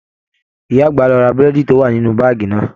Ìyá àgbà lo ra burẹdi to wà nínú baagi náà.